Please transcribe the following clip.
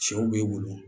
Sɛw bɛ wolo